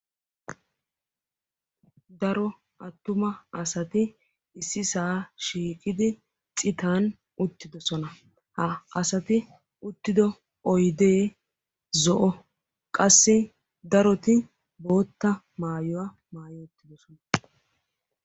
Daro attuma asati ississaa shiiqqidi citan uttiddossona. Ha asati uttiddo oydee zo"o qassi daroti boottaa maayuwa maayi uttiddossona.